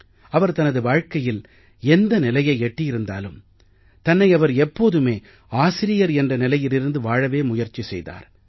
அவர் தனது வாழ்க்கையில் எந்த நிலையை எட்டியிருந்தாலும் தன்னை அவர் எப்போதுமே ஆசிரியர் என்ற நிலையில் இருந்து வாழவே முயற்சி செய்தார்